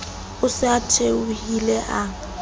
o se a theohile a